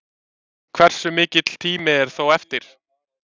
HVERSU MIKILL TÍMI ER ÞÓ EFTIR???